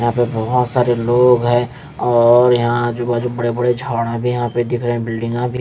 यहाँ पे बहुत सारे लोग हैं और यहाँ आजु-बाजु बड़े-बड़े झाड़ भी है यहाँ पे दिख रहे हैं बिल्डिन्गा भी --